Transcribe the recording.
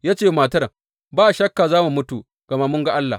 Ya ce wa matar, Ba shakka za mu mutu, gama mun ga Allah!